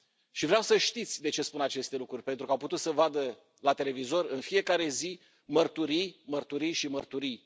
Și vreau să știți de ce spun aceste lucruri, pentru că au putut să vadă la televizor în fiecare zi mărturii, mărturii și mărturii.